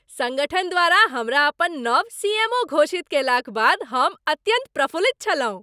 संगठन द्वारा हमरा अपन नव सी. एम. ओ. घोषित कयलाक बाद हम अत्यंत प्रफुल्लित छलहुँ।